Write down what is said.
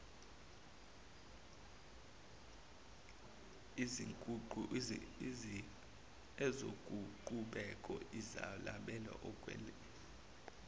izokuqhubeka izabalazele ukwelekelela